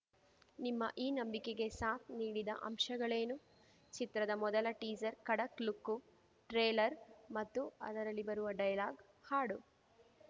ನಿಮ್ಮ ಈ ನಂಬಿಕೆಗೆ ಸಾಥ್‌ ನೀಡಿದ ಅಂಶಗಳೇನು ಚಿತ್ರದ ಮೊದಲ ಟೀಸರ್‌ನ ಕಡಕ್‌ ಲುಕ್ಕು ಟ್ರೇಲರ್‌ ಮತ್ತು ಅದರಲ್ಲಿ ಬರುವ ಡೈಲಾಗ್‌ ಹಾಡು